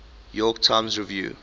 york times review